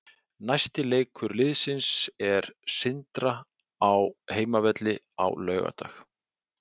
Næsti leikur liðsins er Sindra á heimavelli á laugardag.